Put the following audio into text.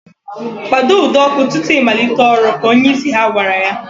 Kpado ụdọ ọkụ tutu I malite ọrụ! Ka onyeisi ha gwara ya